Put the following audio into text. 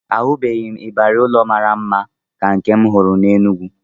Ahụbeghị m ịbarị ụlọ mara mma ka nke m hụrụ n'Enugu